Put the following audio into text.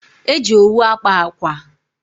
E ji owu akpa akwa.